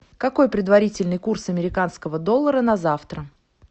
какой предварительный курс американского доллара на завтра